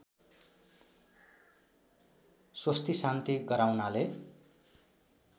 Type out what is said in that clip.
स्वस्तिशान्ति गराउनाले